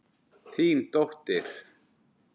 Þín dóttir.